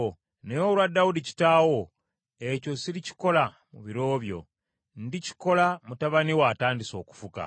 Naye olwa Dawudi kitaawo, ekyo sirikikola mu biro byo, ndikikola, mutabani wo atandise okufuga.